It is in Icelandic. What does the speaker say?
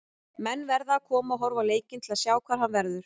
Menn verða að koma og horfa á leikina til að sjá hvar hann verður.